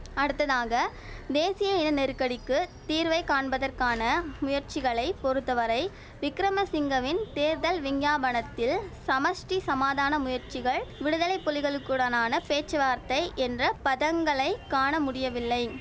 அடுத்ததாக தேசிய இன நெருக்கடிக்கு தீர்வை காண்பதற்கான முயற்சிகளை பொறுத்தவரை விக்கிரமசிங்கவின் தேர்தல் விஞ்ஞாபனத்தில் சமஷ்டி சமாதான முயற்சிகள் விடுதலை புலிகளுக்குடனான பேச்சுவார்த்தை என்ற பதங்களை காண முடியவில்லை